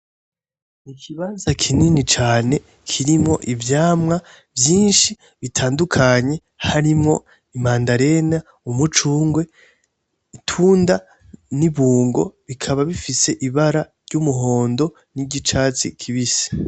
Ikibanza kinini cane kirimwo ivyamwa vyinshi bitandukanye harimwo imandarena, umucunrwe, itunda nibungo bikaba bifise ibara ry'umuhondo niry'icatsi kibisi.